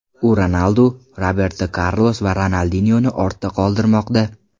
U Ronaldu, Roberto Karlos va Ronaldinyoni ortda qoldirmoqda.